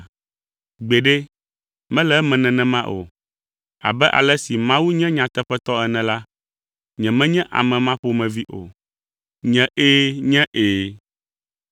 Gbeɖe, mele eme nenema o. Abe ale si Mawu nye nyateƒetɔ ene la, nyemenye ame ma ƒomevi o. Nye “ɛ̃” nye “ɛ̃.”